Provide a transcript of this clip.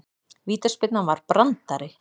Vítaspyrnan var brandari